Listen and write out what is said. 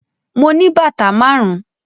Mo ní bàtà márùn-ún.